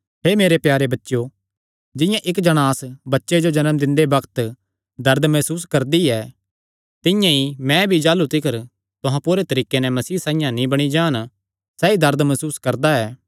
हे मेरे प्यारे बच्चेयो जिंआं इक्क जणांस बच्चे जो जन्म दिंदे बग्त दर्द मसूस करदी ऐ तिंआं ई मैं भी जाह़लू तिकर तुहां पूरे तरीके नैं मसीह साइआं नीं बणी जान सैई दर्द मसूस करदा ऐ